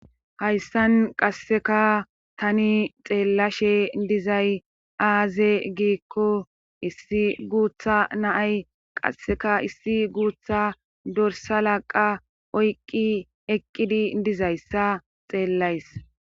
hayssan qasseka tani xeellashe dizay aaze giikko issi guutha naay qasseka issi guutha dorsa laqa oyqqi eqqidi dizayssa xeellays